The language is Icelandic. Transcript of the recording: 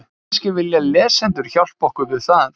Kannski vilja lesendur hjálpa okkur við það?